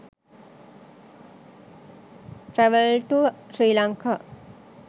travel to sri lanka